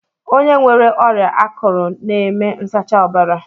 Onye nwere ọrịa akụrụ n'eme nsacha ọbara